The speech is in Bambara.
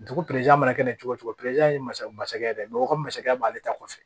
Dugu mana kɛ cogo cogo ye masakɛ masakɛ ye dɛ bamakɔ masakɛ b'ale ta kɔfɛ